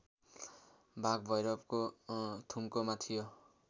बागभैरवको थुम्कोमा थियो